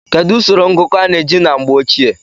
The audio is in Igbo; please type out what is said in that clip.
kedu usoro ngụkọ a na-eji na mgbe ochie?